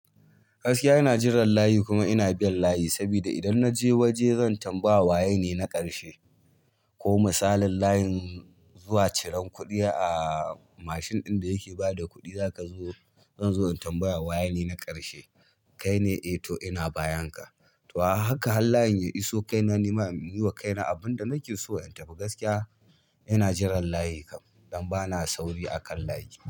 Gaskiya ina jiran layi kuma ina bin layi sabida idan na je waje zan tambaya waye ne na ƙarshe. Ko misalin layin zuwa ciran kuɗi a mashin ɗin da yake ba da kuɗi, zaka zo zan zo in tambaya waye ne na ƙarshe. Kai ne? Eh to ina bayanka. To a haka har layin ya iso kaina nima in biɗo ma kaina abin da nake so in tafi gaskiya ina jiran layi dun bana sauri akan layi.